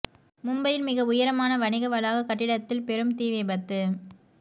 மும்பையில் மிக உயரமான வணிக வளாக கட்டிடத்தில் பெரும் தீ விபத்து